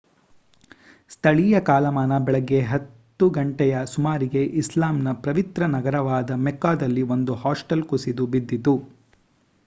ಸ್ಥಳೀಯ ಕಾಲಮಾನ ಬೆಳಿಗ್ಗೆ 10 ಗಂಟೆಯ ಸುಮಾರಿಗೆ ಇಸ್ಲಾಮ್‌ನ ಪವಿತ್ರ ನಗರವಾದ ಮೆಕ್ಕಾದಲ್ಲಿ ಒಂದು ಹಾಸ್ಟೆಲ್ ಕುಸಿದು ಬಿದ್ದಿತು